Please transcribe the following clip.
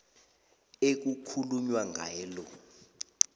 ekukhulunywa ngaye lo